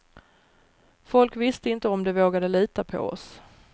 Folk visste inte om de vågade lita på oss.